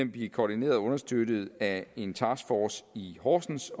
bliver koordineret og understøttet af en taskforce i horsens